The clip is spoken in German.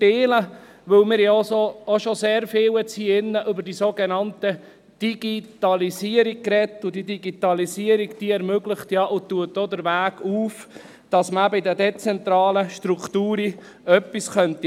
Denn wir haben hier in diesem Saal auch schon sehr viel über die sogenannte Digitalisierung gesprochen, und diese Digitalisierung ermöglicht es ja und öffnet den Weg, dass man in den dezentralen Strukturen etwas machen könnte.